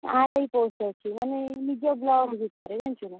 RI post ଅଛି ମାନେ ଏଇ ନିଜ block ଭିତରେ ଜାଣିଛୁ ନା।